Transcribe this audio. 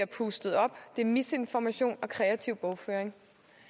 pustet op at det er misinformation og kreativ bogføring